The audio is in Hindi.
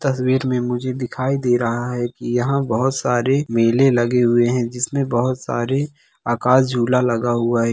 तस्वीर में मुझे दिखाई दे रहा है की यहाँ बहुत सारे मेले लगे हुए है जिसमें बहोत सारे आकाश झूला लगा हुआ है।